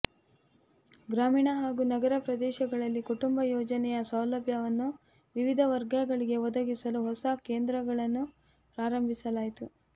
ಗ್ರಾಮೀಣ ಹಾಗೂ ನಗರ ಪ್ರದೇಶಗಳಲ್ಲಿ ಕುಟುಂಬ ಯೋಜನೆಯ ಸೌಲಭ್ಯವನ್ನು ವಿವಿಧ ವರ್ಗಗಳಿಗೆ ಒದಗಿಸಲು ಹೊಸ ಕೇಂದ್ರಗಳನ್ನು ಪ್ರಾರಂಭಿಸಲಾಯಿತು